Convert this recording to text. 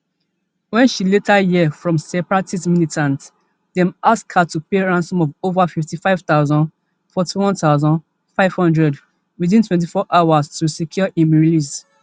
wen she later hear from separatist militants dem ask her to pay ransom of ova fifty-five thousand forty-one thousand, five hundred within twenty-four hours to secure im release